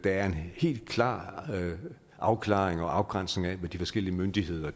er en helt klar afklaring og afgrænsning af hvad de forskellige myndigheder